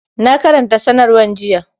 Na karanta sanarwar jiya